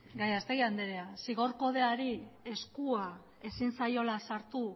gallastegui andrea zigor kodeari eskua ezin zaiola sartu